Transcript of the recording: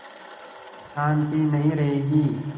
शान्ति नहीं रहेगी